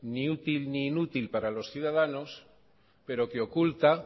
ni útil ni inútil para los ciudadanos pero que oculta